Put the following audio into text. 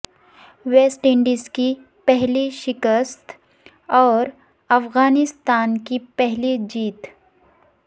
waste Indies کی پہلی شکست اور افغانستان کی پہلی جیت